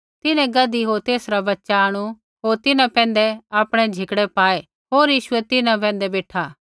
तिन्हैं गधी होर तेसरा बच्च़ा आंणु होर तिन्हां पैंधै आपणै झिकड़ै पाऐ होर यीशु तिन्हां पैंधै बेठा